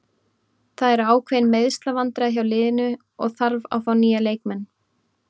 Það eru ákveðin meiðslavandræði hjá liðinu og þarf að fá nýja leikmenn.